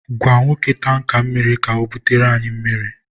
gwa nwoke tanka mmiri ka o bute anyị mmiri